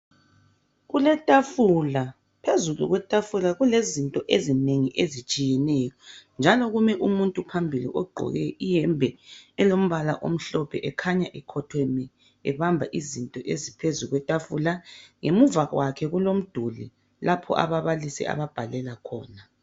Kuletafula, phezulu kwetafula kulezinto ezinengi ezitshiyeneyo njalo kumi umuntu phambili ogqoke iyembe elombala omhlophe ekhanya ekhotheme ebamba izinto eziphezukwetafula. Ngemuva kwakhe kulomduli lapho ababalisi ababhalela khona.